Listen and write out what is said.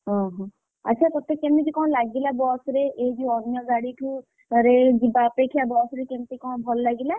ଓହୋ ଆଚ୍ଛା ତତେ କେମିତି କଣ ଲାଗିଲା ବସ ରେ ଏଇ ଯୋଉ ଅନ୍ୟ ଗାଡିଠୁ ଯିବା ଅପେକ୍ଷା ବସ ରେ ଯିବା କେମିତି କଣ ଭଲ ଲାଗିଲା?